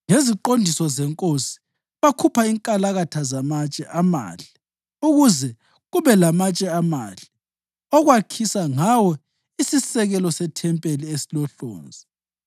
Ngeziqondiso zenkosi bakhupha inkalakatha zamatshe amahle ukuze kube lamatshe amahle okwakhisa ngawo isisekelo sethempeli esilohlonzi.